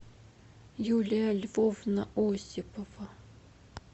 юлия львовна осипова